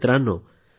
मित्रांनो दि